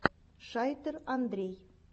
шайтер андрей